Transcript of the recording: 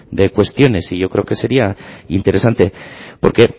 de cuestiones y yo creo que sería interesante porque